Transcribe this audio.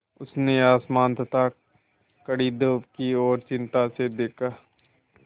उसने आसमान तथा कड़ी धूप की ओर चिंता से देखा